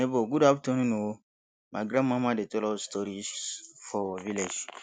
nebor good afternoon o my grandmama dey tell us stories for village